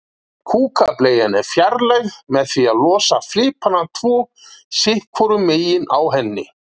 Kúkableian er fjarlægð með því að losa flipana tvo sitt hvoru megin á henni.